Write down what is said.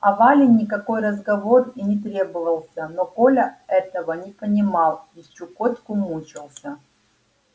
а вале никакой разговор и не требовался но коля этого не понимал и чукотку мучался